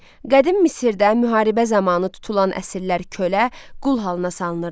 Qədim Misirdə müharibə zamanı tutulan əsirlər kölə, qul halına salınırdı.